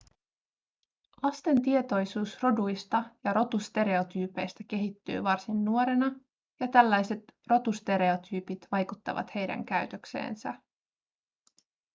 lasten tietoisuus roduista ja rotustereotyypeistä kehittyy varsin nuorena ja tällaiset rotustereotyypit vaikuttavat heidän käytökseensä